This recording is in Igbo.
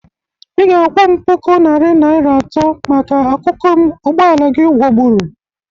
Ị ga-akwọ m puku narị naịra atọ maka akụkụ m ụgbọ ala gị gwọgbụru.